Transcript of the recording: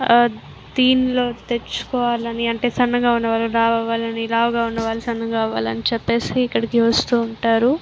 ఆ తీన్ లోకి తెచ్చుకోవాలని అంటే సన్నగా ఉన్నవాళ్ళు లావు అవ్వాలని లావుగా ఉన్నవాళ్ళు సన్నగా అవ్వాలని చెప్పేసి ఇక్కడికి వస్తూ ఉంటారు.